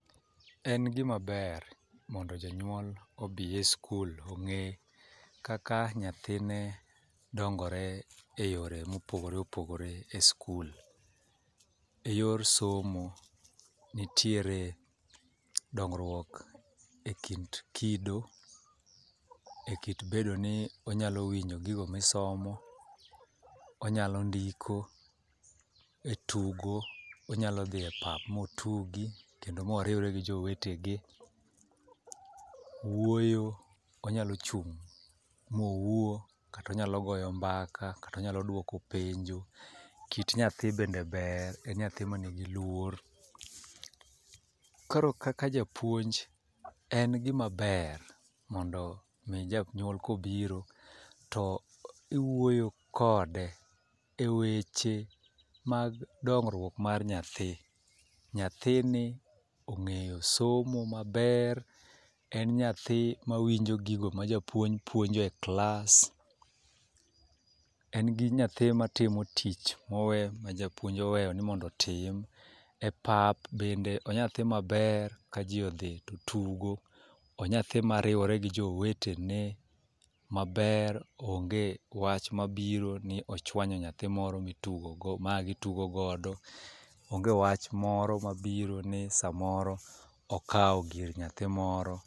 En gimaber mondo jonyuol obi e skul ong'e kaka nyathine dongore e yore mopogore opogore e skul e yor somo. Nitiere dongruok e kind kido e kit bedo ni onyalo winjo gigo misomo, onyalo ndiko , etugo onyalo dhi e pap motugi kendo moriwre gi jowetegi. Wuoyo, onyalo chung' mowuo kata onyalo goyo mbaka kata onyalo duoko penjo. Kit nyathi bende ber en nyathi ma nigi luor. Koro kaka japuonj en gima ber mondo mi janyuol kobiro to iwuoyo kode e weche mag dongruok mar nyathi. Nyathini ong'eyo somo maber , en nyathi mawinjo gigo ma japuonj puonjo e klas, en nyathi matimo tich mowe ma japuonj oweyo ni mondo otim e pap bende onya thi maber kajii odhi totugo onya thi mariwore gi jowetene maber, onge wach mabiro ni ochwanyo nyathi moro ma itugo go mane gitugo godo onge wach mabiro ni samoro okawo gir nyathi moro.